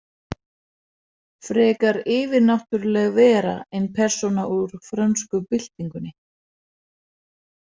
Frekar yfirnáttúruleg vera en persóna úr frönsku byltingunni.